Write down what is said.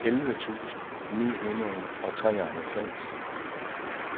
elleve tusind ni hundrede og treoghalvfems